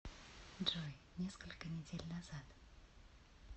джой несколько недель назад